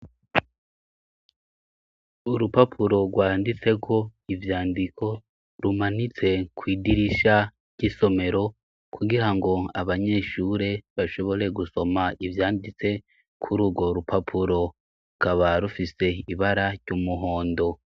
Urupapuro rwanditseko ivyandiko rumanitse kw'idirisha ry'isomero, kugirango abanyeshure bashobore gusoma ivyanditse kuri urwo rupapuro. Rukaba rufise ibara ry'umuhondo.